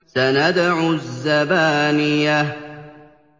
سَنَدْعُ الزَّبَانِيَةَ